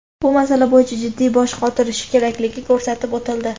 bu masala bo‘yicha jiddiy bosh qotirishi kerakligi ko‘rsatib o‘tildi.